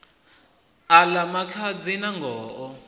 a ḽa makhadzi nangoho o